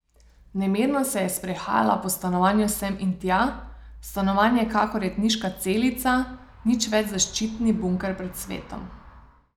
Nemirno se je sprehajala po stanovanju sem in tja, stanovanje kakor jetniška celica, nič več zaščitni bunker pred svetom.